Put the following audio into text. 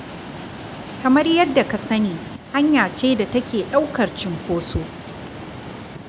Kamar yadda ka sani hanya ce da take ɗaukar cunkoso.